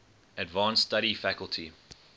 advanced study faculty